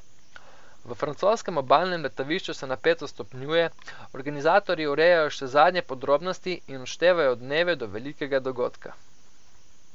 V francoskem obalnem letovišču se napetost stopnjuje, organizatorji urejajo še zadnje podrobnosti in odštevajo dneve do velikega dogodka.